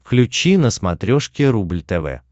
включи на смотрешке рубль тв